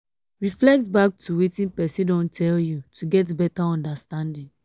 reflect back to wetin person don tell you to get better understanding